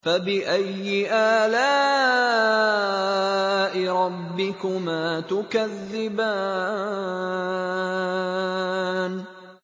فَبِأَيِّ آلَاءِ رَبِّكُمَا تُكَذِّبَانِ